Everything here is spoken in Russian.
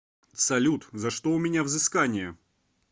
салют за что у меня взыскания